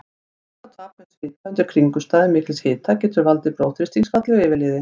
Vökvatap með svita undir kringumstæðum mikils hita getur valdið blóðþrýstingsfalli og yfirliði.